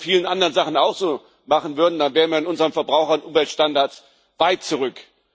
Wenn man das bei vielen anderen Sachen auch so machen würde, dann wären wir in unseren Verbraucher und Umweltstandards weit zurück.